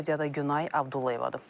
Studiyada Günay Abdullayevadır.